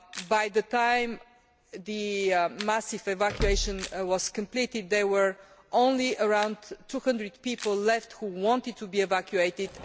By the time this massive evacuation was completed, there were only around 200 people left who wanted to be evacuated.